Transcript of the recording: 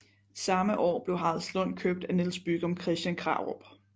Samme år blev Haraldslund købt af Niels Bygom Christian Krarup